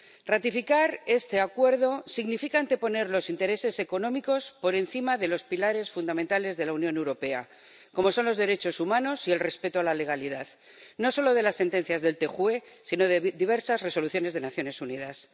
Ratificar este Acuerdo significa anteponer los intereses económicos por encima de los pilares fundamentales de la Unión Europea, como son los derechos humanos y el respeto a la legalidad, no solo de las sentencias del TJUE, sino de diversas Resoluciones de las Naciones Unidas.